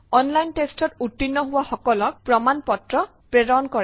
online test ত উত্তীৰ্ণ হোৱা সকলক প্ৰমাণ পত্ৰ প্ৰেৰণ কৰে